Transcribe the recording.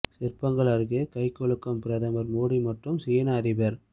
சிற்பங்கள் அருகே கை குலுக்கும் பிரதமர் மோடி மற்றும் சீன அதிபர்